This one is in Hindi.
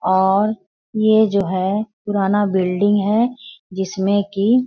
और ये जो है पुराना बिल्डिंग है जिसमें की --